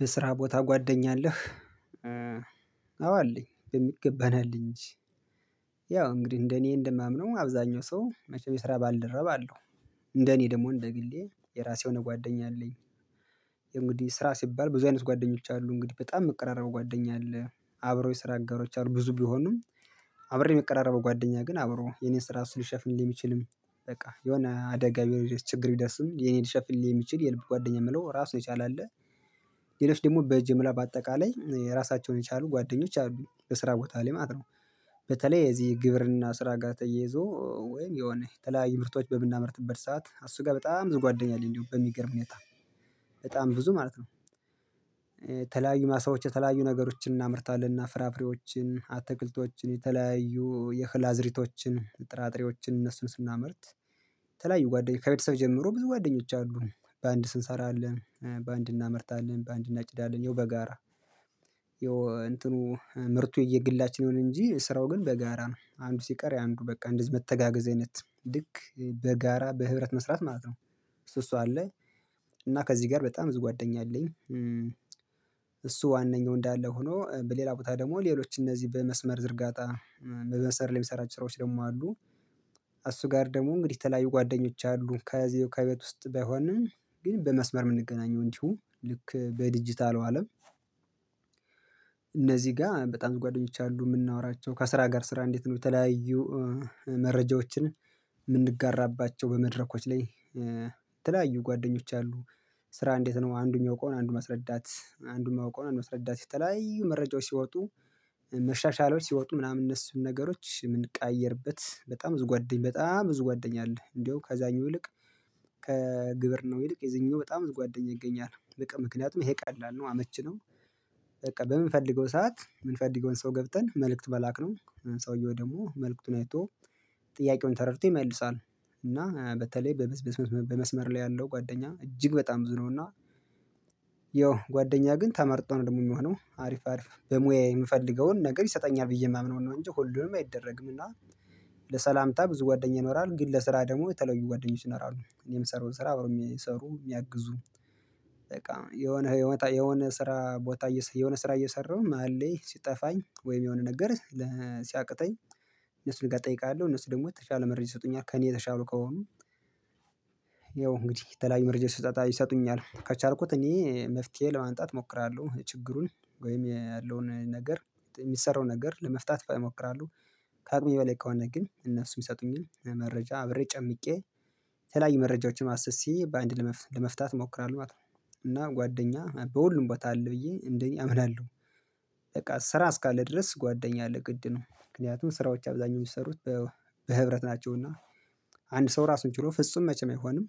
በስራ ቦታ ጓደኛ አለህ? አዎ አለኝ በሚገባ እንጂ ያው እንግዲህ እንደኔ እንደማምነው አብዛኛው ሰው መቼም የስራ ባልደረባ አለው። እንደኔ ደግሞ እንደግሌ የራሴ የሆነ ጓደኛ አለኝ እንግዲህ ስራ ሲባል ብዙ አይነት ጓደኞች አሉ እንግዲህ በጣም መቀራረቡ ጓደኛ አለ አብረው የስራ አጋሮች አሉ ብዙ ቢሆንም ቢሆኑም አብሬ የሚቀራረበው ጓደኛ ግን አብሮ የኔን ስራ ልሽፍንልኝ የሚችልም በቃ የሆነ አደጋ ቢሆን ችግር ቢደርስም የኔን ልሸፍንልኝ የሚችል የልብ ጓደኛ የምለው ራሱ የቻለ አለ ሌሎች ደግሞ በጅምላ በአጠቃላይ ራሳቸውን የቻሉ ጓደኞች አሉኝ በስራ ቦታ ላይ ማለት ነው። በተለይ እዚህ ግብርና ስራ ጋር ተየይዞ ወይም የሆነ የተለያየ ምርቶች በምናመርትበት ሰዓት እሱ ጋር በጣም ብዙ ጓደኛ አለኝ እንዲሁ በሚገርም ሁኔታ። በጣም ብዙ ማለት ነው። የተለያዩ ማሳዎች የተለያዩ ነገሮችን እናምርታለን እና ፍራፍሬዎችን አትክልቶችን የተለያዩ የእህል አዝሪቶችን ጥራጥሬዎችን እነሱን ስናመርት የተለያዩ ጓደኞች ከቤተሰብ ጀምሮ ብዙ ጓደኞች አሉ በአንድ ስንሰራ አለ በአንድ እናመርታለን በአንድ እናጭዳለን ይኸው በጋራ ይኸው እንትኑ ምርቱ የየግላችን ይሁን እንጂ ስራው ግን በጋራ ነው አንዱ ሲቀር የአንዱ በቃ እንደዚህ መተጋገዝ አይነት ልክ በጋራ በህብረት መስራት ማለት ነው እሱ እሷ አለ። እና ከዚህ ጋር በጣም ብዙ ጓደኛ አለኝ እሱ ዋነኛው እንዳለ ሆኖ በሌላ ቦታ ደግሞ ሌሎች እነዚህ በመስመር ዝርጋታ በመሰመር ላይ የሚሰራቸው ስራዎች ደግሞ አሉ። እሱ ጋር ደግሞ እንግዲህ ተለያዩ ጓደኞች አሉ ከዚህ ከቤት ውስጥ ባይሆንም ግን በመስመር የምንገናኘው እንዲሁ ልክ በዲጂታል አለም። እነዚህ ጋር በጣም ጓደኞች አሉ የምናወራቸው ከስራ ጋር ስራ እንዴት ነው የተለያዩ መረጃዎችን የምንጋራባቸው በመድረኮች ላይ የተለያዩ ጓደኞች አሉ ስራ እንዴት ነው አንዱ የሚያውቀውን አንዱ ማስረዳት አንዱ የማይቀዉን ነው አንዱ መስረዳት የተለያዩ መረጃዎች ሲወጡ መሻሻሎች ሲወጡ ምናምን እነሱን ነገሮች የምንቀያየርበት በጣም ብዙ ጓደኛ በጣም ብዙ ጓደኛ አለ እንደው ከዛኙ እልቅ ከግብርናው ይልቅ የዚህኛው በጣም ጓደኛ ይገኛል በቃ ምክንያቱም ይሄ ቀላል ነው አመችነው። በቃ በምንፈልገው ሰዓት የምንፈልገውን ሰው ገብተን መልእክት መላክ ነው ሰውየው ደግሞ መልእክቱን አይቶ ጥያቄውን ተረድቶ ይመልሳል እና በተለይ በሺህ በመስመር ላይ ያለው ጓደኛ እጅግ በጣም ብዙ ነውና ያው ጓደኛ ግን ተመርጦ ነው ደግሞ የምሆነው አሪፍ አሪፍ በሙያ የምፈልገውን ነገር ይሰጠኛል ብዬ የማምነውን ነው እንጂ ሁሉንም አይደረግምና። ለሰላምታ ብዙ ጓደኝ ይኖራል ግን ለስራ ደግሞ የተለዩ ጓደኞች ይኖራሉ እኔም ምሰራዉን ስራ አብሮ የሚሰሩ የሚያግዙ በቃ የሆነ የሆነ ስራ ቦታ የሆነ ስራ እየሰራሁ መሃል ላይ ሲጠፋኝ ወይም የሆነ ነገር ሲያቅተኝ እነሱ ጋር እጠይቃለሁ እነሱ ደግሞ ውጤት ያለ መረጃ ይሰጡኛል ከእኔ የተሻሉ ከሆኑ ያው እንግዲህ የተለያዩ መረጃ ይሰጡኛል ከቻልኩት እኔ መፍትሄ ለማንጣት እሞክራለሁ ችግሩን ወይም ያለውን ነገር የሚሰራው ነገር ለመፍታት እሞክራለሁ። ከአቅሜ በላይ ከሆነ ግን እነሱም ይሰጡኝ መረጃ አብሬ ጨምቄ የተለያይ መረጃዎችን አሠ በአንድ ለመፍታት እሞክራለሁ ማለት ነው እና ጓደኛ በሁሉም ቦታ አለ ብዬ እንደኔ አምናለሁ። በቃ ስራ እስካለ ድረስ ጓደኛ አለ ግድ ነው ምክንያቱም ስራዎች አብዛኛው የሚሰሩት በህብረት ናቸውና አንድ ሰው ራሱን ችሎ ፍጹም መቼም አይሆንም።